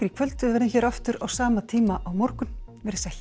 kvöld við verðum hér aftur á sama tíma á morgun verið sæl